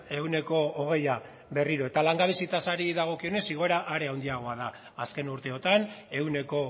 ehuneko hogeia berriro eta langabezia tasari dagokionez igoera are handiagoa da azken urteotan ehuneko